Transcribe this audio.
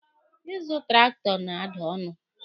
Ịzụ traktọ na-ada ọnụ.